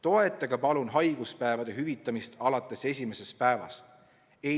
Toetage palun haiguspäevade hüvitamist alates esimesest päevast!